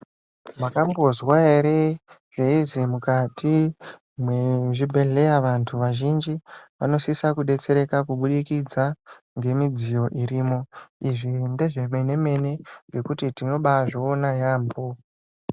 Mwakambozwa ere zveinzi mukati mezvibhedhlera vantu vazhinji vanosisa kudetsereka kuburikidza nemidziyo iriyo zvimwe nezve mene mene nekuti tinozviona yambo.